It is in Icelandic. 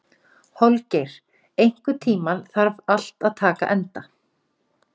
Holgeir, einhvern tímann þarf allt að taka enda.